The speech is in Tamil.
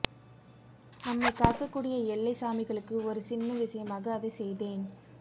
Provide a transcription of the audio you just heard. நம்மைக் காக்கக் கூடிய எல்லைச் சாமிகளுக்கு ஒரு சின்ன விஷயமாக அதைச் செய்தேன்